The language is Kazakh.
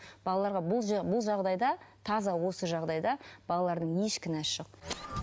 балаларға бұл жағдайда таза осы жағдайда балалардың еш кінәсі жоқ